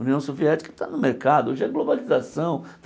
A União Soviética está no mercado, hoje é globalização.